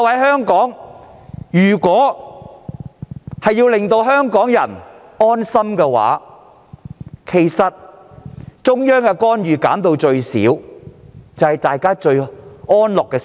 他們明白，要令香港人安心，中央的干預必須減至最少。